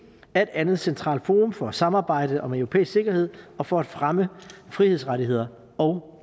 er et andet centralt forum for samarbejde om europæisk sikkerhed og for at fremme frihedsrettigheder og